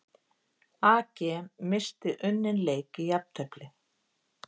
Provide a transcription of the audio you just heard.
AG missti unninn leik í jafntefli